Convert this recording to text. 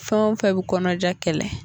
Fɛn o fɛn bɛ kɔnɔja kɛlɛ